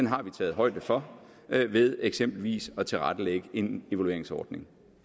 har vi taget højde for ved eksempelvis at tilrettelægge en evalueringsordning